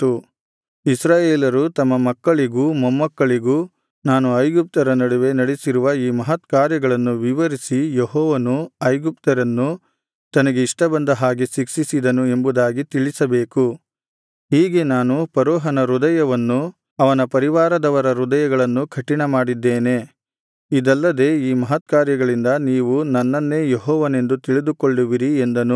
ಇಸ್ರಾಯೇಲರು ತಮ್ಮ ಮಕ್ಕಳಿಗೂ ಮೊಮ್ಮಕ್ಕಳಿಗೂ ನಾನು ಐಗುಪ್ತ್ಯರ ನಡುವೆ ನಡೆಸಿರುವ ಈ ಮಹತ್ಕಾರ್ಯಗಳನ್ನು ವಿವರಿಸಿ ಯೆಹೋವನು ಐಗುಪ್ತ್ಯರನ್ನು ತನಗೆ ಇಷ್ಟಬಂದ ಹಾಗೆ ಶಿಕ್ಷಿಸಿದನು ಎಂಬುದಾಗಿ ತಿಳಿಸಬೇಕು ಹೀಗೆ ನಾನು ಫರೋಹನ ಹೃದಯವನ್ನು ಅವನ ಪರಿವಾರದವರ ಹೃದಯಗಳನ್ನೂ ಕಠಿಣಮಾಡಿದ್ದೇನೆ ಇದಲ್ಲದೆ ಈ ಮಹತ್ಕಾರ್ಯಗಳಿಂದ ನೀವು ನನ್ನನ್ನೇ ಯೆಹೋವನೆಂದು ತಿಳಿದುಕೊಳ್ಳುವಿರಿ ಎಂದನು